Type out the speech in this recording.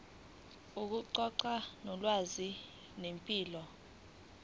ukuxoxa ngolwazi ngempilo